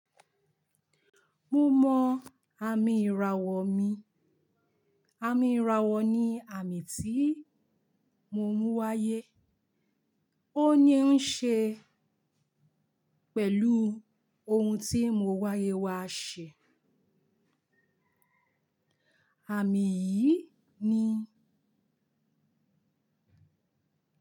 Mo mọ àmì ìràwọ̀ mi. Àmì ìràwọ̀ ni àmì tí mo mú wáyé. Ó ní ń ṣe pẹ̀lú ohun tí mo wáyé wá ṣe. Àmì yìí ni.